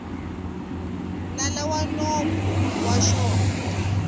nala wa nomo wa xona